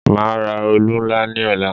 Màá ra òòlù ńlá ní ọ̀la.